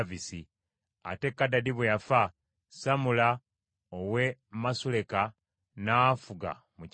Ate Kadadi bwe yafa, Samula ow’e Masuleka n’afuga mu kifo kye.